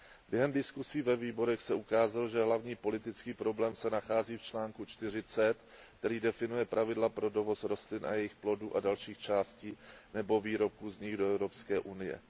Během diskuzí ve výborech se ukázalo, že hlavní politický problém se nachází v článku 40, který definuje pravidla pro dovoz rostlin a jejich plodů a dalších částí nebo výrobků z nich do Evropské unie.